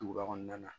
Duguba kɔnɔna na